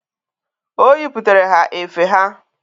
O yiputere ha efe ha.